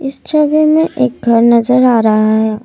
छवि में एक घर नज़र आ रहा है।